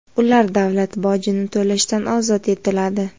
ular davlat bojini to‘lashdan ozod etiladi.